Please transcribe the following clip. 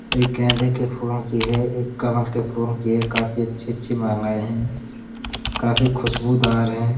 एक गेंदे के फूलों की है एक कमल के फूलों की है। काफी अच्छी-अच्छी मालायें हैं। काफी खुशबूदार हैं।